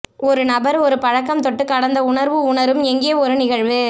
ஒரு நபர் ஒரு பழக்கம் தொட்டு கடந்த உணர்வு உணரும் எங்கே ஒரு நிகழ்வு